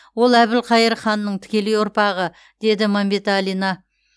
ол әбілқайыр ханның тікелей ұрпағы деді мәмбеталина